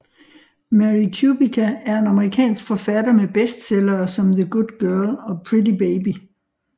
Mary Kubica er en amerikansk forfatter med bestsellere som The Good Girl og Pretty Baby